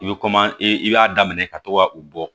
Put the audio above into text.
I bɛ i b'a daminɛ ka to ka u bɔ